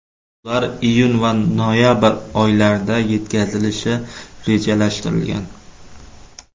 Ular iyun va noyabr oylarida yetkazilishi rejalashtirilgan.